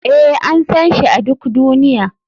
Ee, an san shi a duk duniya.